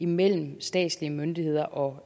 mellem statslige myndigheder og